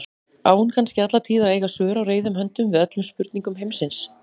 Á hún kannski alla tíð að eiga svör á reiðum höndum við öllum spurningum heimsins?